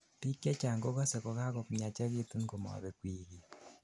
biik chechang kokosei kokagomiachekitun komabek wikit